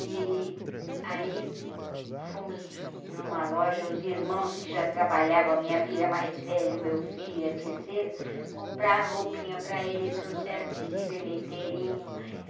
E aí fomos numa loja, os irmãos que já trabalhavam, a minha filha mais velha, o meu filho e a terceira, compraram roupinha para ele, e trouxeram vestido ele inteirinho.